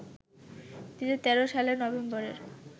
২০১৩ সালের নভেম্বরের